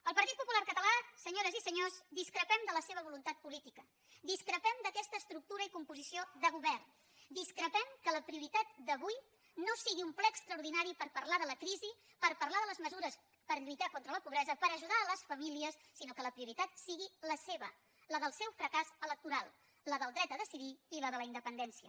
el partit popular català senyores i senyors discrepem de la seva voluntat política discrepem d’aquesta estructura i composició de govern discrepem que la prioritat d’avui no sigui un ple extraordinari per parlar de la crisi per parlar de les mesures per lluitar contra la pobresa per ajudar les famílies sinó que la prioritat sigui la seva la del seu fracàs electoral la del dret a decidir i la de la independència